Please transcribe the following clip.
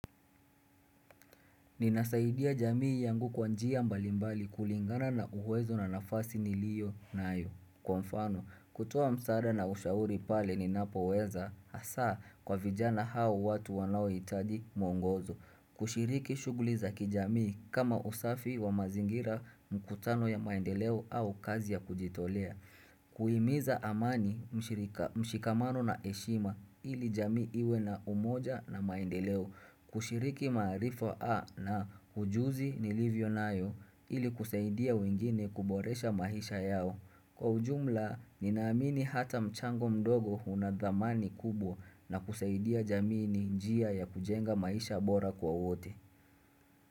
Ninasaidia jamii yangu kwa njia mbalimbali kulingana na uwezo na nafasi niliyo nayo. Kwa mfano, kutuwa msada na ushauri pale ni napo weza, hasaa kwa vijana hao watu wanao itaji mwongozo. Kushiriki shuguli za kijamii kama usafi wa mazingira mkutano ya maendeleo au kazi ya kujitolea. Kuhimiza amani mshikamano na heshima ili jamii iwe na umoja na maendeleo. Kushiriki marifo A na hujuzi nilivyo nayo ili kusaidia wengine kuboresha maisha yao. Kwa ujumla, ninaamini hata mchango mdogo unadhamani kubwa na kusaidia jamii ni njia ya kujenga maisha bora kwa wote.